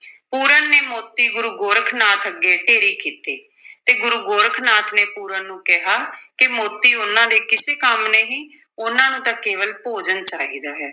ਪੂਰਨ ਨੇ ਮੋਤੀ ਗੁਰੂ ਗੋਰਖ ਨਾਥ ਅੱਗੇ ਢੇਰੀ ਕੀਤੇ ਤੇ ਗੁਰੂ ਗੋਰਖ ਨਾਥ ਨੇ ਪੂਰਨ ਨੂੰ ਕਿਹਾ ਕਿ ਮੋਤੀ ਉਨ੍ਹਾਂ ਦੇ ਕਿਸੇ ਕੰਮ ਨਹੀਂ, ਉਨ੍ਹਾਂ ਨੂੰ ਤਾਂ ਕੇਵਲ ਭੋਜਨ ਚਾਹੀਦਾ ਹੈ।